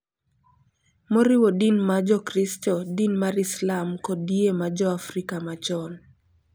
Moriwo din ma Jokristo, din mar Islam, kod yie ma jo Afrika machon,